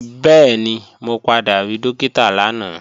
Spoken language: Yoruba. Bẹ́ẹ̀ni, mo padà rí Dókítà lánàá